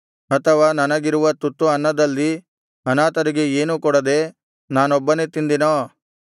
ಅಥವಾ ನನಗಿರುವ ತುತ್ತು ಅನ್ನದಲ್ಲಿ ಅನಾಥರಿಗೆ ಏನೂ ಕೊಡದೆ ನಾನೊಬ್ಬನೇ ತಿಂದೆನೋ